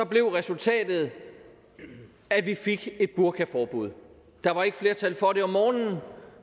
blev resultatet at vi fik et burkaforbud der var ikke flertal for det om morgenen